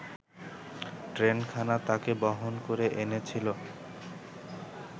ট্রেনখানা তাকে বহন করে এনেছিল